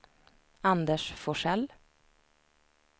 Anders Forsell